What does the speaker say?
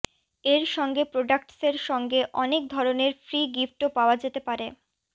এর সঙ্গে প্রোডাক্টসের সঙ্গে অনেক ধরনের ফ্রি গিফটও পাওয়া যেতে পারে